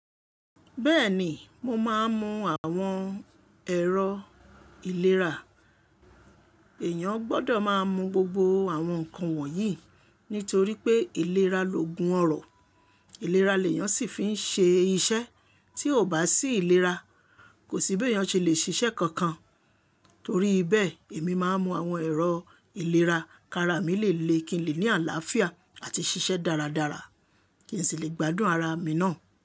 Bẹ́ẹ̀ni, mo máa ń mu àwọn ẹ̀rọ ìlera. Èèyàn gbọ́dọ̀ máa mu gbogbo àwọn nǹkan wọ̀nyí torí pé ìlera loògùn ọrọ. Ìlera ni èèyàn ṣì fi ń ṣe iṣẹ́. Tí ò bá sí ìlera, kò sí bí èèyàn ṣe lè ṣiṣẹ́ kankan. Torí bẹ́ẹ̀, èmi máa ń mu àwọn ẹ̀rọ ìlera kí ara mi lè le kí n lè ní àlàáfíà àti ṣiṣẹ́ dáradára, kí n sì lè gbádùn ara mi ná.